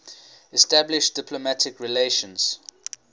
establish diplomatic relations